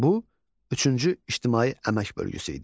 Bu üçüncü ictimai əmək bölgüsü idi.